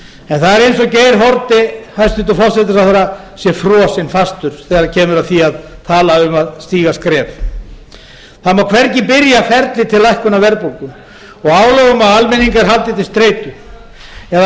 en það er eins og geir haarde hæstvirtur forsætisráðherra sé frosinn fastur þegar kemur að því að tala um að stíga skref það má hvergi byrja ferlið til lækkunar verðbólgu og álögum á almenning er haldið til streitu eða